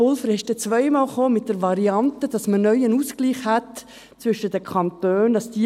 Pulver kam zweimal mit der Variante, dass man neu zwischen den Kantonen einen Ausgleich hätte.